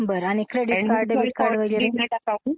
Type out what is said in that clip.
बरं आणि credit card, debit card वगैरे?